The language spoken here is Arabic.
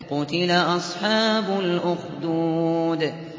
قُتِلَ أَصْحَابُ الْأُخْدُودِ